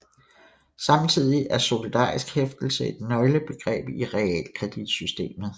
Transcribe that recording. Samtidig er solidarisk hæftelse et nøglebegreb i realkreditsystemet